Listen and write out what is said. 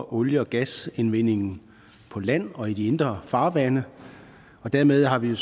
olie og gasindvendingen på land og i de indre farvande og dermed har vi